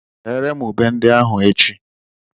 Bere m ube ndị ahụ echi.